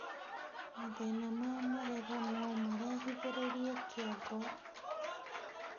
mathĩna ma magego nomarehithirie kĩongo